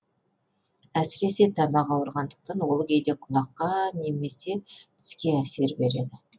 әсіресе тамақ ауырғандықтан ол кейде құлаққа немесе тіске әсер береді